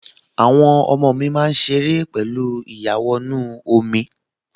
Àwọn ọmọ mi máa ṣe ère pẹ̀lú ìyàwọnú-omi